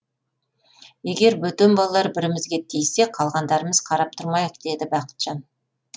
егер бөтен балалар бірімізге тиіссе қалғандарымыз қарап тұрмайық деді бақытжан